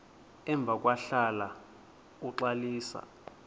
emva kwahlala uxalisa